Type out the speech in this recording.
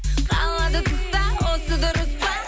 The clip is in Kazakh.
қалады тыста осы дұрыс па